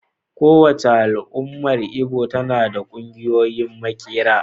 Kowace al'ummar Igbo tana da ƙungiyoyin maƙera.